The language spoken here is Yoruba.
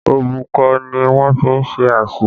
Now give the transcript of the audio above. Òbúkọ ni wọ́n fi ṣe àsun